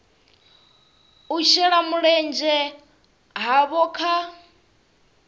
u shela mulenzhe havho kha